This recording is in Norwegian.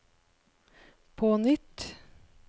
på nytt